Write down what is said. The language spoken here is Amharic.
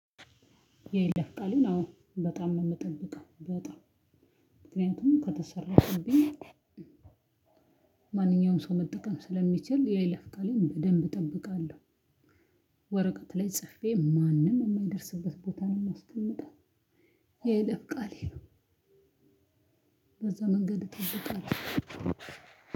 የይለፍ ቃልን አዎ በጣም ነው የምጠብቀው በጣም ምክንያቱም ከተሰረቀብኝ ማንኛውም ሰው መጠቀም ስለሚችል የይለፍ ቃልን በደንብ እጠብቃለሁ። ወረቀት ላይ ጽፌ ማንም የማይደርስበት ቦታ ነው የማስቀምጠው። የይለፍ ቃሌ ነው። በዛ ማንገድ ነው ምጠብቀው።